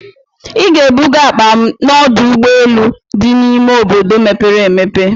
Ị ga-ebuga akpa m n'ọdụ ụgbọ elu dị n'ime obodo mepere emepe!